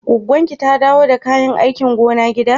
Gwaggon ki ta dawo da kayan aikin gona gida?